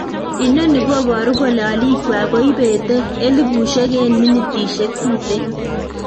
Inoni koboru kole oliikwak koibete elibushek en minitishek tuten.